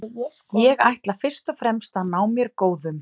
Ég ætla fyrst og fremst að ná mér góðum.